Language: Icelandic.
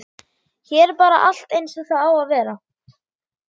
Hér er bara allt eins og það á að vera.